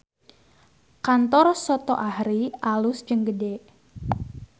Kantor Soto Ahri alus jeung gede